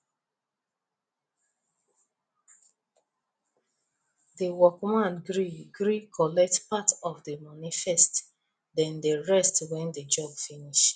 the workman gree gree collect part of the money first then the rest when the job finish